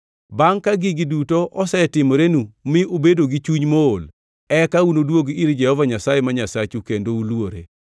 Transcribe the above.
Bangʼ ka gigi duto osetimorenu mi ubedo gi chuny mool, eka unuduog ir Jehova Nyasaye ma Nyasachu kendo uluore.